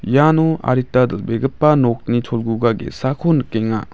iano adita dal·begipa nokni cholguga ge·sako nikenga.